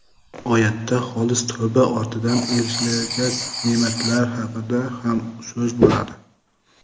Oyatda xolis tavba ortidan erishilajak ne’matlar haqida ham so‘z boradi.